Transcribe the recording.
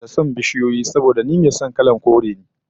Ina da son bishiyoyi saboda ni mai son kalar kore ne